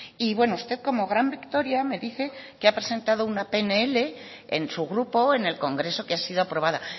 y bueno usted como gran victoria me dice que ha presentado una pnl en su grupo en el congreso que ha sido aprobada